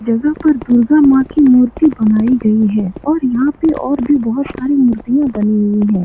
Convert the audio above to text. जगह पर दुर्गा माँ की मूर्ति बनायी गयी हैऔर यहाँ पर और भी बहुत सारी मुर्तिया बनी हुई है।